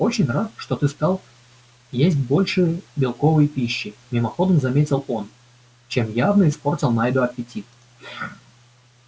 очень рад что ты стал есть больше белковой пищи мимоходом заметил он чем явно испортил найду аппетит